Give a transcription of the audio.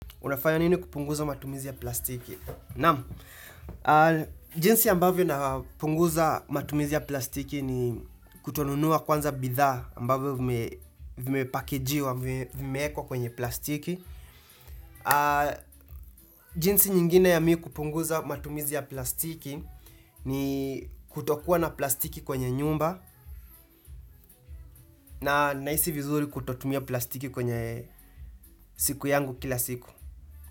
Unafanya nini kupunguza matumizi ya plastiki? Naam, jinsi ambavyo napunguza matumizi ya plastiki ni kutonunua kwanza bidhaa ambavyo vimepakejiwa, vimeekwa kwenye plastiki. Jinsi nyingine ya mi kupunguza matumizi ya plastiki ni kutokuwa na plastiki kwenye nyumba na nahisi vizuri kutotumia plastiki kwenye siku yangu kila siku.